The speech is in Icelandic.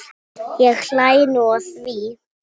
Ég hlæ nú að því.